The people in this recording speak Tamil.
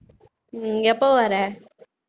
உம் எப்ப வர